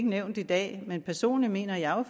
nævnt i dag men personligt mener jeg